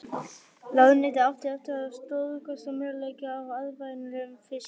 Ráðuneytið átti eftir að stórskaða möguleika á arðvænlegu fiskeldi.